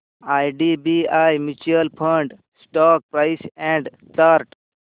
IDBI mutual fund stock price and chart